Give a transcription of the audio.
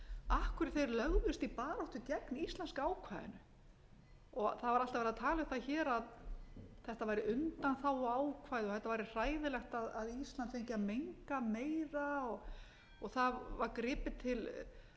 af hverju þeir lögðust í baráttu gegn íslenska ákvæðinu það var alltaf verið að tala um það hér að þetta væri undanþáguákvæði og þetta væri hræðilegt að ísland fengi að menga meira og það var gripið til